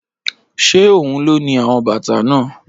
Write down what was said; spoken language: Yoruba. Ṣé ohun ló ni àwọn bàtà náà?